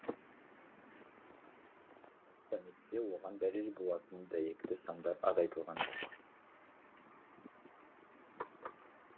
саммитте оған дәлел болатын дәйекті сандар аз айтылған жоқ